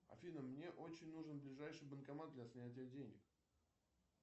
афина мне очень нужен ближайший банкомат для снятия денег